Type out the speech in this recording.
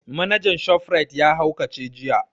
Manajan shof rite ya haukace jiya